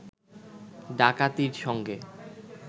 ডাকাতির সঙ্গে